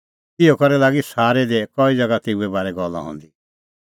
इहअ करै लागी सारै दी कई ज़ैगा तेऊए बारै गल्ला हंदी